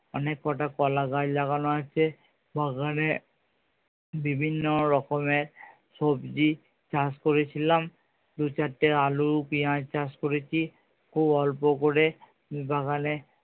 অনেক কটা কলা গাছ লাগানো আছে বাগানে বিভিন্ন রকমের সবজি চাষ করে ছিলাম দু চারটে আলু পেঁয়াজ চাষ করেছি খুব অল্প করে বাগানে